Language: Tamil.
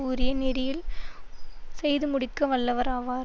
உரிய நெறியில் செய்து முடிக்க வல்லவர் ஆவார்